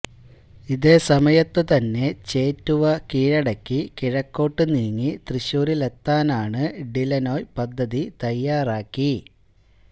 ഇതേസമയത്തു തന്നെ ചേറ്റുവ കീഴടക്കി കിഴക്കോട്ട് നീങ്ങി തൃശ്ശൂരിലെത്താന് ഡിലനോയി പദ്ധതി തയ്യാറാക്കി